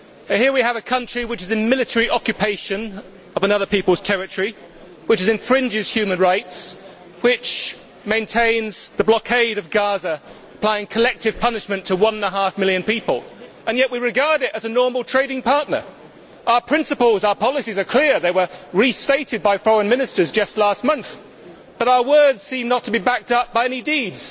Here we have a country which is in military occupation of another people's territory, which infringes human rights, which maintains the blockade of Gaza and applies collective punishment to one and a half million people, and yet we regard it as a normal trading partner. Our principles and our policies are clear they were restated by foreign ministers just last month, but our words do not seem to be backed up by any deeds.